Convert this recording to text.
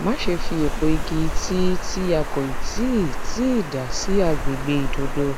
má ṣe fi epo igi tii tí a kò tíì tíì dà sí àgbègbè ìdodo